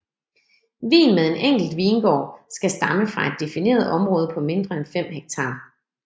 Vin med en enkelt vingård skal stamme fra et defineret område på mindre end 5 hektar